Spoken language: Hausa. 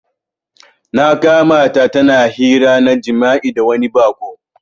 Na kamata tana hira na jima'i da wani bako.